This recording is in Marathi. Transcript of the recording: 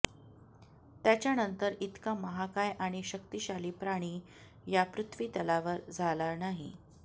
त्याच्यानंतर इतका महाकाय आणि शक्तिशाली प्राणी या पृथ्वीतलावर झाला नाही